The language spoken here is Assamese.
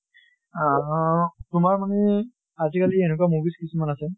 আহ তোমাৰ মানে আজি কালি এনুকা movies কিছুমান আছে